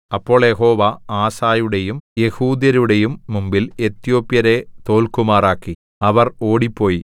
അപ്പോൾ യഹോവ ആസയുടെയും യെഹൂദ്യരുടെയും മുമ്പിൽ എത്യോപ്യരെ തോല്ക്കുമാറാക്കി അവർ ഓടിപ്പോയി